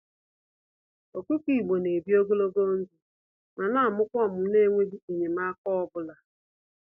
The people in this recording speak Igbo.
Ọkụkọ Igbo n'ebi ogologo ndụ, ma namụkwa ọmụmụ nenweghi enyemaka ọbula.